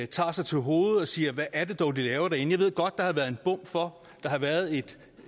tager sig til hovedet og siger hvad er det dog de laver derinde jeg ved godt der været en bom for der har været